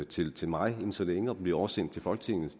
til til mig inden så længe og derefter blive oversendt til folketinget og